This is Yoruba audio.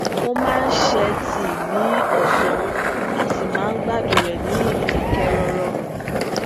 ó máa ń se tíì ní ọsán a sì máa ń gbádùn rè ní idakẹrọrọ